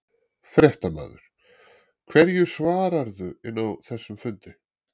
Fréttamaður: Hverju svararðu inni á þessum fundi?